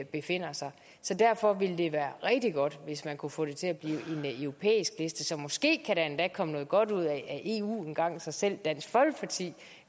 befinder sig så derfor ville det være rigtig godt hvis man kunne få det til at blive en europæisk liste så måske kan der komme noget godt ud af eu engang så selv dansk folkeparti